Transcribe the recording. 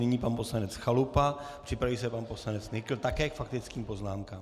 Nyní pan poslanec Chalupa, připraví se pan poslanec Nykl, také k faktickým poznámkám.